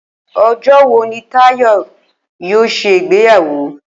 O̩jó̩ wo ni Táyò̩ yoo s̩e ìgbéyàwó?